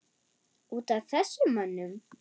Út af þessum mönnum?